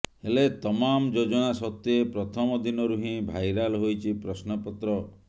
ହେଲେ ତମାମ୍ ଯୋଜନା ସତ୍ତ୍ୱେ ପ୍ରଥମ ଦିନରୁ ହିଁ ଭାଇରାଲ୍ ହୋଇଛି ପ୍ରଶ୍ନପତ୍ର